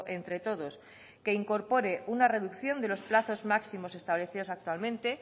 entre todos que incorpore una reducción de los plazos máximos establecidos actualmente